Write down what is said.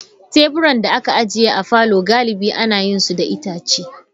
Teburan da aka ajiye a falo galibi ana yin su da itace.